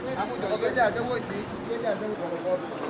Həmin yox, gəldi ha, bu əjdaha gəldi, yox.